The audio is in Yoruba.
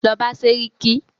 Lọ bá sẹ́ríkí!